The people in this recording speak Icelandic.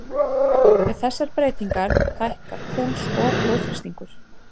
Við þessar breytingar hækkar púls og blóðþrýstingur.